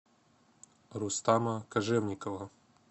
рустама кожевникова